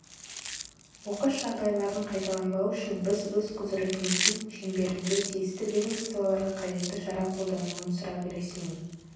оқыс жағдайлардың қайталанбауы үшін біз өз құзыретіміздің шеңберінде тиісті ведомстволарға қажетті шара қолданылуын сұрап ресми